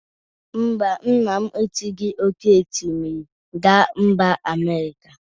Mba, nna esighi oke osimiri gaa mba Amerika.